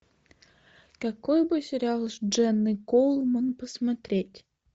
какой бы сериал с дженной коулман посмотреть